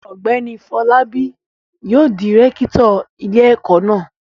Ọ̀gbẹ́ni Fọlábí yóò di rẹ́kítọ̀ ilé-ẹ̀kọ́ náà.